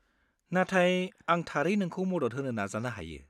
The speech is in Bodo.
नाथाय आं थारै नोंखौ मदद होनो नाजानो हायो।